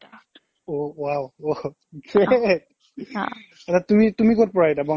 অ' wow great তুমি তুমি ক'ত পৰা এতিয়া